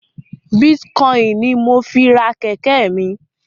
Bitcoin ní mọ fí rà kéké mí